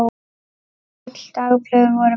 Öll dagblöð voru bönnuð.